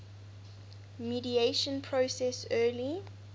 mediation process early